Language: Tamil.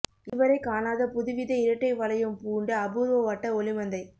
இதுவரைக் காணாத புதுவித இரட்டை வளையம் பூண்ட அபூர்வ வட்ட ஒளிமந்தை